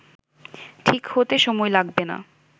ঠিক হতে সময় লাগবে না